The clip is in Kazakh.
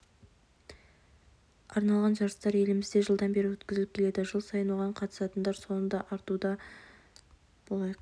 арналған жарыстар елімізде жылдан бері өткізіліп келеді жыл сайын оған қатысатындар саны да артуда барлық